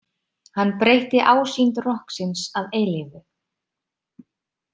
Hann breytti ásýnd rokksins að eilífu.